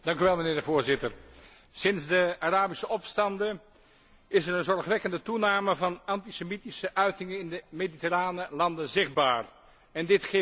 Sinds de Arabische opstanden is er een zorgwekkende toename van antisemitische uitingen in de mediterrane landen zichtbaar en dit gif moet worden bestreden.